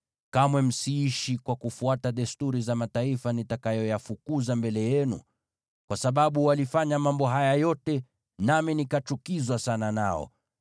Kamwe msiishi kwa kufuata desturi za mataifa nitakayoyafukuza mbele yenu. Kwa sababu walifanya mambo haya yote, nami nikachukizwa sana nao.